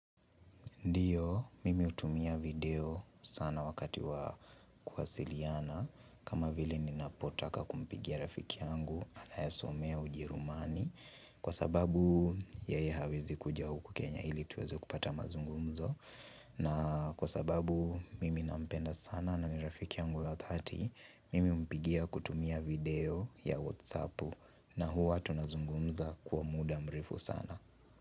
Ndiyo, mimi hutumia video sana wakati wa kuwasiliana kama vili ninapotaka kumpigia rafiki yangu Anayasomea ujerumani Kwa sababu yeye hawezi kuja huku Kenya ili tuweze kupata mazungumzo na kwa sababu mimi nampenda sana na ni rafiki yangu ya 30 Mimi humpigia kutumia video ya Whatsapp na huwa tunazungumza kuwa muda mrefu sana.